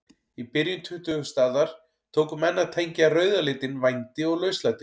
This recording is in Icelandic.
Í byrjun tuttugustu aldar tóku menn að tengja rauða litinn vændi og lauslæti.